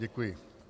Děkuji.